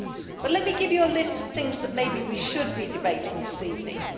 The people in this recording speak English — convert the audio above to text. But let me give Members a list of things that maybe we should be debating this evening.